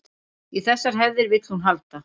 Í þessar hefðir vill hún halda